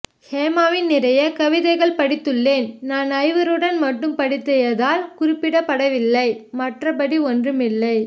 ஹேமாவின் நிறைய கவிதைகள் படித்துள்ளேன் நான் ஐவருடன் மட்டுப்படுத்தியதால் குறிப்பிடவில்லை மற்றப்படி ஒன்றுமில்லை